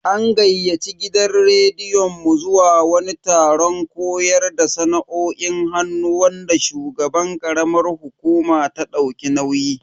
An gayyaci gidan rediyon mu zuwa wani taron koyar da sana'o'in hannu wanda shugaban karamar hukuma ta dauki nauyi.